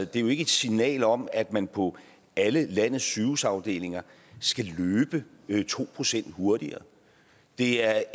det er jo ikke et signal om at man på alle landets sygehusafdelinger skal løbe to procent hurtigere det er